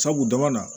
Sabu dama na